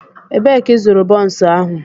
Ebee ka ịzụrụ bonsu ahu?